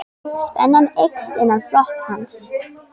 Spenna eykst innan flokks hans.